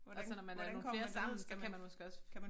Og så når man er nogle flere sammen så kan man måske også